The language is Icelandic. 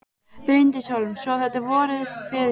Bryndís Hólm: Svo þetta er vorið fyrir þér?